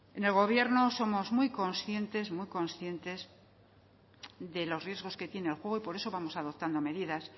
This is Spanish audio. en el gobierno somos muy conscientes de los riesgos que tiene el juego y por eso vamos adoptando medidas